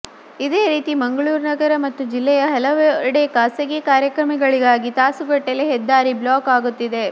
ಇದೇ ರೀತಿ ಮಂಗಳೂರು ನಗರ ಮತ್ತು ಜಿಲ್ಲೆಯ ಹಲವೆಡೆ ಖಾಸಗಿ ಕಾರ್ಯಕ್ರಮಗಳಿಗಾಗಿ ತಾಸುಗಟ್ಟಲೇ ಹೆದ್ದಾರಿ ಬ್ಲಾಕ್ ಆಗುತ್ತಿದೆ